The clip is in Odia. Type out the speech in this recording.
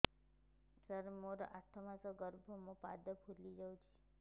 ସାର ମୋର ଆଠ ମାସ ଗର୍ଭ ମୋ ପାଦ ଫୁଲିଯାଉଛି